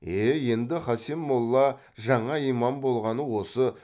е енді хасен молла жаңа имам болғаны осы